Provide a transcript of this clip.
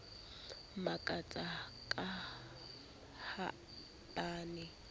makatsa ka ha ba ne